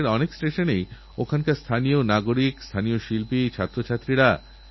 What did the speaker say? কোনও সমাজের বা কোনও সরকারের জন্যই সাম্য এবং সমান সুযোগের এরচেয়ে বড় কোনও মন্ত্র হতে পারে না